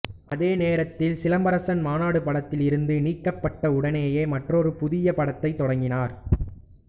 அதே நேரத்தில் சிலம்பரசன் மாநாடு படத்தில் இருந்து நீக்கப்பட்ட உடனேயே மற்றொரு புதிய படத்தை தொடங்கினார்